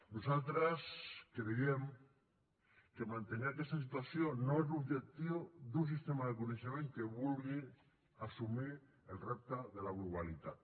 nosaltres creiem que mantenir aquesta situació no és l’objectiu d’un sistema de coneixement que vulgui assumir el repte de la globalitat